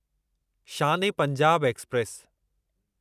Shaan e Punjab express